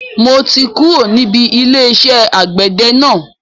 Mo ti kúrò níbi ilé iṣẹ́ àgbẹ̀dẹ náà